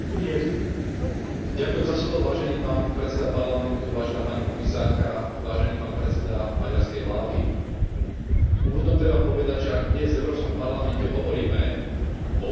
Úvodom treba povedať, že ak dnes v Európskom parlamente hovoríme o opakovanom a pretrvávajúcom porušovaní základných ľudských práv, práva Európskej únie, ako aj medzinárodných záväzkov Maďarska,